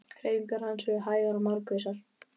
Hreyfingar hans eru hægar og markvissar.